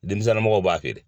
Denmisɛnninw mɔgɔw b'a feere.